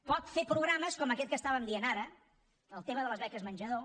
pot fer programes com aquest que estàvem dient ara el tema de les beques menjador